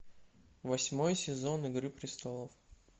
восьмой сезон игры престолов